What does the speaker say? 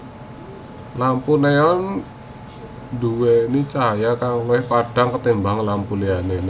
Lampu neon nduwéni cahya kang luwih padhang tinimbang lampu liyané